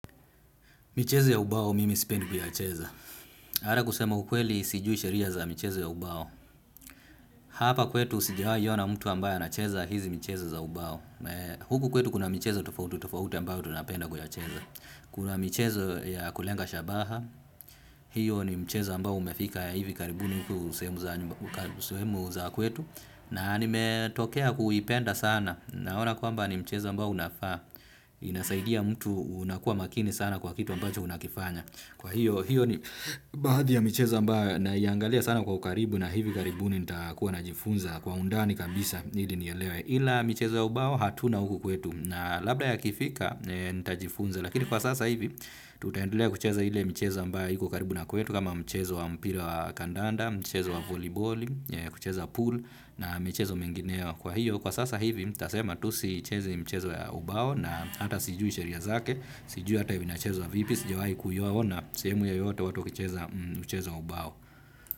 Michezo ya ubao mimi sipendi kuyacheza. Hata kusema ukweli sijui sheria za michezo ya ubao. Hapa kwetu sijiawahi ona mtu ambaye anacheza hizi michezo za ubao. Huku kwetu kuna michezo tofauti tofauti ambayo tunapenda kuyacheza. Kuna michezo ya kulenga shabaha. Hiyo ni mchezo ambao umefika ya hivi karibuni huku sehemu za kwetu. Na nimetokea kuipenda sana. Naona kwamba ni mchezo ambao unafaa. Inasaidia mtu unakuwa makini sana kwa kitu ambacho unakifanya. Kwa hiyo, hiyo ni baadhi ya michezo ambayo naiangalia sana kwa ukaribu na hivi karibuni nitakuwa najifunza kwa undani kabisa ili nielewe ila michezo ya ubao hatuna huku kwetu na labda yakifika nitajifunza lakini kwa sasa hivi tutaendelea kucheza ile michezo ambayo iko karibu na kwetu kama mchezo wa mpira wa kandanda, mchezo wa voliboli, kucheza pool na michezo mengineo kwa hiyo. Kwa sasa hivi, nitasema tu siichezi mchezo ya ubao na hata sijui sheria zake, sijui ata inachezwa vipi, sijawai kuyaona, sehemu yoyote watu wakicheza mchezo wa ubao.